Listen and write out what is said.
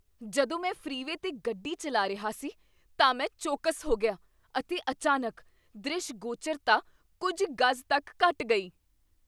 ਜਦੋਂ ਮੈਂ ਫ੍ਰੀਵੇਅ 'ਤੇ ਗੱਡੀ ਚੱਲਾ ਰਿਹਾ ਸੀ ਤਾਂ ਮੈਂ ਚੌਕਸ ਹੋ ਗਿਆ ਅਤੇ ਅਚਾਨਕ ਦਰਿਸ਼ਗੋਚਰਤਾ ਕੁੱਝ ਗਜ਼ ਤੱਕ ਘੱਟ ਗਈ।